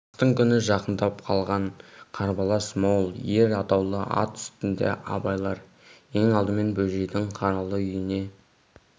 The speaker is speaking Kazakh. астың күні жақындап қалған қарбалас мол ер атаулы ат үстінде абайлар ең алдымен бөжейдің қаралы үйіне